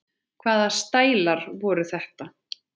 Hvaða stælar voru þetta?